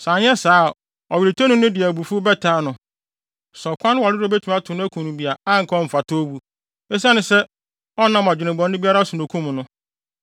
Sɛ anyɛ saa a ɔweretɔni no de abufuw bɛtaa no. Sɛ ɔkwan no ware dodo a ɔbɛto no akum no bi, a anka ɔmfata owu, esiane sɛ ɔnnam adwemmɔne biara so na okum no.